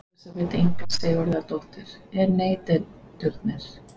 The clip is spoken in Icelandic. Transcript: Elísabet Inga Sigurðardóttir: En neytendur?